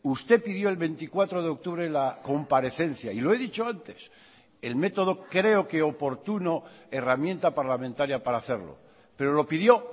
usted pidió el veinticuatro de octubre la comparecencia y lo he dicho antes el método creo que oportuno herramienta parlamentaria para hacerlo pero lo pidió